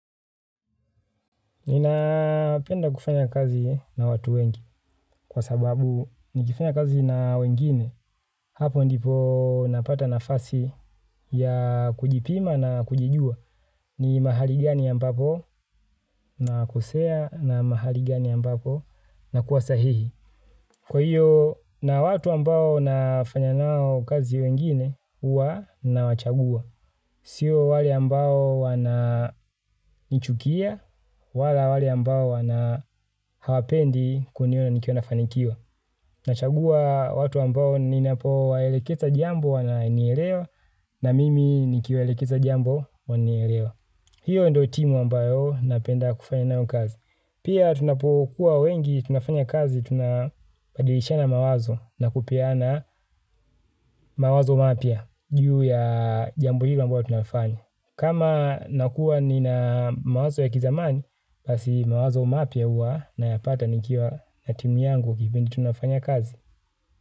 Ninapenda kufanya kazi na watu wengi kwa sababu nikifanya kazi na wengine hapo ndipo napata nafasi ya kujipima na kujijua ni mahali gani ambapo nakosea na mahali gani ambapo nakuwa sahihi. Kwa hiyo na watu ambao nafanya nao kazi wengine uwa nawachagua. Sio wale ambao wana nichukia wala wale ambao wana hawapendi kuniona nikiwa nafanikiwa. Nachagua watu ambao ninapo waeleketa jambo wananielewa na mimi nikiwaelekeza jambo wananielewa. Hiyo ndio timu ambayo napenda kufanya nayo kazi. Pia tunapokuwa wengi, tunafanya kazi, tunabadilishana mawazo na kupeana mawazo mapya, juu ya jambo hilo ambayo tunafanya. Kama nakuwa nina mawazo ya kizamani, basi mawazo mapya hua nayapata nikiwa na timu yangu kipindi tunafanya kazi.